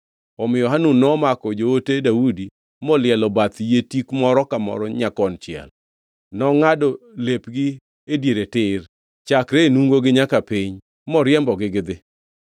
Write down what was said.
Omiyo Hanun nomako joote Daudi molielo bath yie tik moro ka moro nyakonchiel; nongʼado lepgi e diere tir chakre e nungogi nyaka piny, moriembogi gidhi.